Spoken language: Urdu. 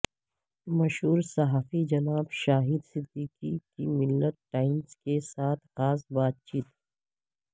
مشہور صحافی جناب شاہد صدیقی کی ملت ٹائمز کے ساتھ خاص بات چیت